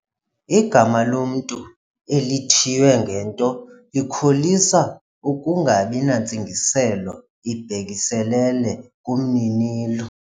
Igama lomntu elithiywe ngento likholisa ukungabi nantsingiselo ibhekiselele kumninilo.